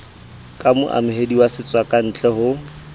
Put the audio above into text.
ka moamohedi wa setswakantle ho